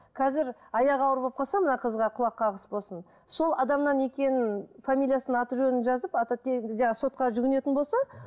қазір аяғы ауыр болып қалса мына қызға құлақ қағыс болсын сол адамнан екенін фамилиясын аты жөнін жазып ата тегі жаңа сотқа жүгінетін болса